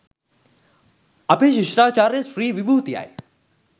අපේ ශිෂ්ටාචාරයේ ශ්‍රී විභූතියයි.